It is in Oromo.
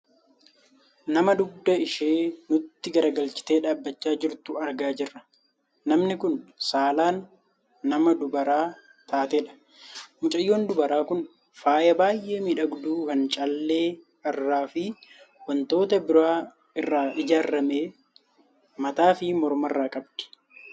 Nama dugda ishee nutti gargalchitee dhaabbachaa jirtu argaa jirra. Namni kun saalaan nama dubara taatedha. Mucayyoon dubaraa kun faaya baayyee miidhagu kan callee irraa fi wantoota biraa irraa ijaarrame mataafi mormarraa qabdi.